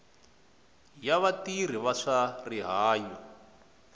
ya vatirhi va swa rihanyo